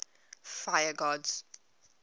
fire gods